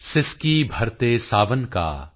ਸਿਸਕੀ ਭਰਤੇ ਸਾਵਨ ਕਾ